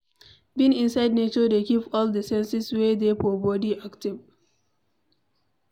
Being inside nature dey keep all di senses wey dey for body active